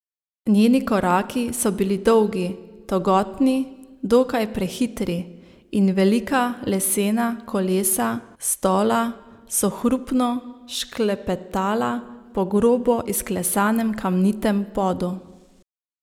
Njeni koraki so bili dolgi in togotni, dokaj prehitri, in velika lesena kolesa stola so hrupno šklepetala po grobo izklesanem kamnitem podu.